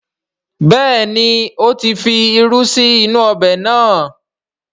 Bẹ́ẹ̀ni, ó ti fi irú sí inú ọbẹ̀ náà